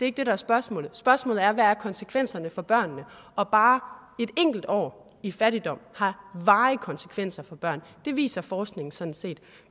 ikke det der er spørgsmålet spørgsmålet er hvad konsekvenserne er for børnene og bare et enkelt år i fattigdom har varige konsekvenser for børn det viser forskningen sådan set